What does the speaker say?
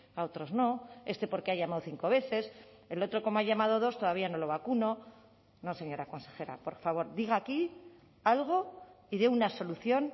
a otros no este porque ha llamado cinco veces el otro como ha llamado dos todavía no lo vacuno no señora consejera por favor diga aquí algo y dé una solución